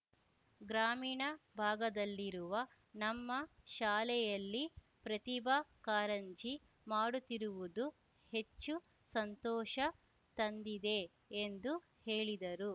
ಗ್ರಾಮೀಣ ಭಾಗದಲ್ಲಿರುವ ನಮ್ಮ ಶಾಲೆಯಲ್ಲಿ ಪ್ರತಿಭಾ ಕಾರಂಜಿ ಮಾಡುತ್ತಿರುವುದು ಹೆಚ್ಚು ಸಂತೋಷ ತಂದಿದೆ ಎಂದು ಹೇಳಿದರು